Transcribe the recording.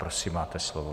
Prosím, máte slovo.